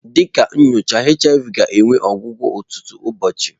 Dị ka nyocha HIV ga-enwe ọgwụgwọ ọtụtụ ụbọọchi.